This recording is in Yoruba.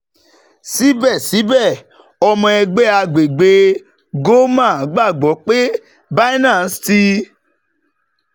Sibẹsibẹ, ọmọ ẹgbẹ agbegbe ggoma gbagbọ pe Binance ti